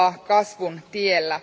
kasvun tiellä.